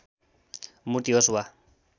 मूर्ति होस् वा